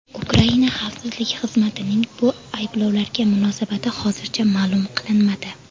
Ukraina xavfsizlik xizmatining bu ayblovlarga munosabati hozircha ma’lum qilinmadi.